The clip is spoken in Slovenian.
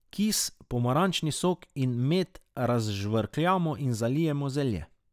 Kis, pomarančni sok in med razžvrkljamo in zalijemo zelje.